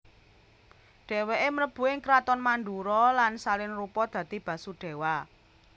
Dhèwèke mlebu ing kraton Mandura lan salin rupa dadi Basudèwa